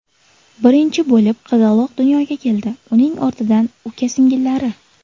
Birinchi bo‘lib qizaloq dunyoga keldi, uning ortidan uka-singillari.